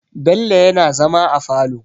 Bello yana zama a falo.